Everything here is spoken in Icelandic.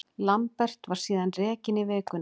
Lambert var síðan rekinn í vikunni.